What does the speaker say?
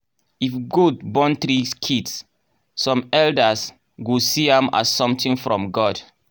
if goat born three kids some elders go see am as something from god.